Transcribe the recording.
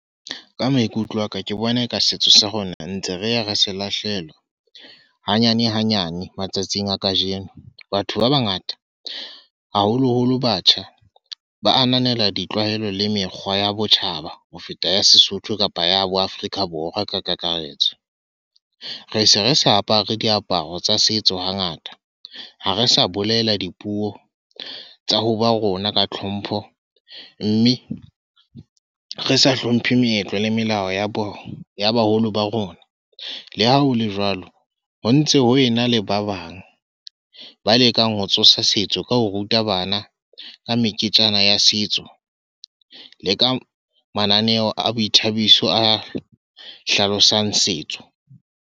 Ka maikutlo a ka, ke bona ka setso sa rona ntse re ya re se lahlehelwa. Hanyane hanyane, matsatsing a kajeno. Batho ba bangata, haholoholo batjha. Ba ananela ditlwaelo le mekgwa ya botjhaba ho feta ya Sesotho kapa ya bo Afrika Borwa ka kakaretso. Re se re sa apare diaparo tsa setso hangata. Ha re sa bolela dipuo tsa ho ba rona ka tlhompho. Mme re sa hlomphe meetlo le melao ya bona, ya baholo ba rona. Le ha hole jwalo, ho ntse ho ena le ba bang ba lekang ho tsosa setso ka ho ruta bana. Ka meketjana ya setso, le ka mananeo a boithabiso a hlalosang setso.